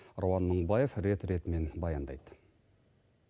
рауан мыңбаев рет ретімен баяндайды